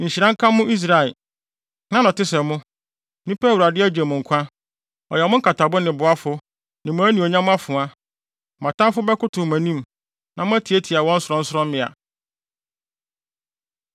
Nhyira nka mo, Israel! Hena na ɔte sɛ mo, nnipa a Awurade agye mo nkwa. Ɔyɛ mo nkatabo ne boafo ne mo anuonyam afoa! Mo atamfo bɛkotow mo anim, na moatiatia wɔn sorɔnsorɔmmea.”